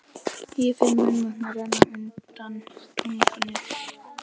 Ég finn munnvatnið renna undan tungunni.